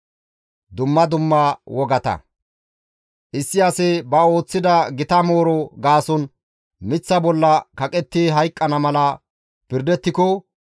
Issi asi ba ooththida gita mooro gaason miththa bolla kaqetti hayqqana mala pirdettiko,